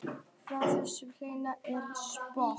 Frá hvaða plánetu er Spock?